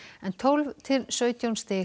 en tólf til sautján stig